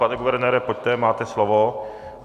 Pane guvernére, pojďte, máte slovo.